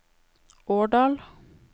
Årdal